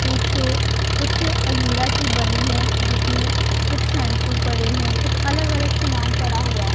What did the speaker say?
पीछे कुछ अलमीरा सी बनी है जिसमें कुछ शैंपू पड़े हैं कुछ अलग अलग सामान पड़ा हुआ--